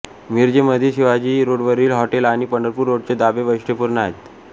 मिरजेमधील शिवाजी रोडवरील हॉटेले आणि पंढरपूर रोडचे ढाबे वैशिष्ट्यपूर्ण आहेत